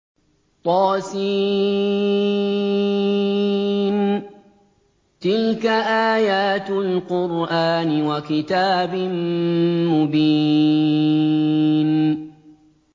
طس ۚ تِلْكَ آيَاتُ الْقُرْآنِ وَكِتَابٍ مُّبِينٍ